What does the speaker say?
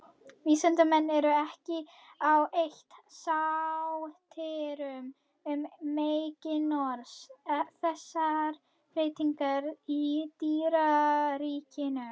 Vísindamenn eru ekki á eitt sáttir um meginorsök þessara breytinga í dýraríkinu.